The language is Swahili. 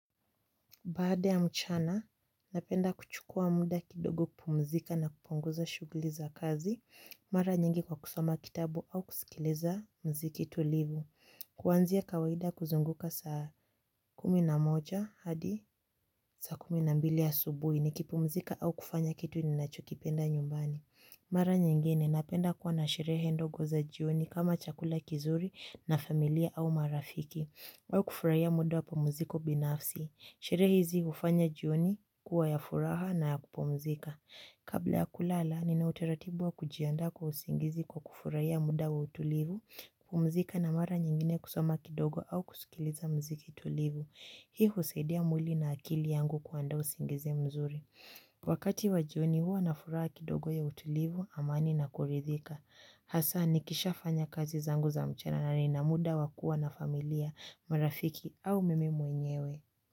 Baada ya mchana, napenda kuchukua muda kidogo kpumzika na kupunguza shuguli za kazi. Mara nyingi kwa kusoma kitabu au kusikileza mziki tulivu. Kuwanzia kawaida kuzunguka saa kuminamoja hadi saa kuminambili ya subuhi ni kipumzika au kufanya kitu ni nacho kipenda nyumbani. Mara nyingine, napenda kuwa na sherehe ndogo za jioni kama chakula kizuri na familia au marafiki. Wao kufurahia muda wa pumziko binafsi. Sherehe hizi hufanya jioni kuwa ya furaha na ya kupumzika. Kabla ya kulala nina utaratibu wa kujiandaa kwa usingizi kwa kufurahia muda wa utulivu. Kupumzika na mara nyingine kusoma kidogo au kusikiliza mziki tulivu. Hii husaidia mwili na akili yangu kuandaa usingizi mzuri. Wakati wa jioni huwa na furaha kidogo ya utulivu, amani na kuridhika. Hasa nikishafanya kazi zangu za mchana na nina muda wa kuwa na familia, marafiki au mimi mwenyewe.